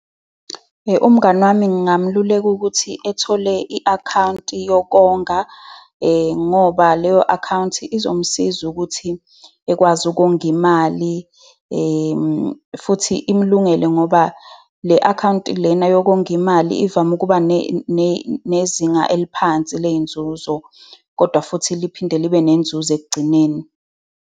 Umngani wami ngingamluleka ukuthi ethole i-akhawunti yokonga, ngoba leyo account izomsiza ukuthi ekwazi ukonga imali futhi imulungele ngoba le-akhawunti lena yokonga imali, ivame ukuba nezinga eliphansi ley'nzuzo, kodwa futhi liphinde libe nenzuzo ekugcineni.